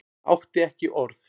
Átti ekki orð.